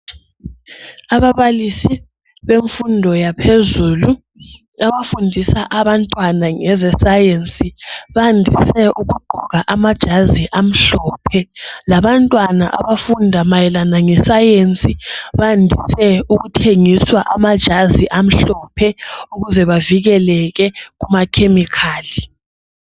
ababalisi bemfundo yaphezulu abafundisa abantwana ngeze science bandise ukugqoka amajazi amhlophe labantwana abafunda mayelana nge science bandise ukuthengiswa amajazi amhlophe ukavikeleke kuma chemical